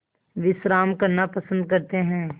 विश्राम करना पसंद करते हैं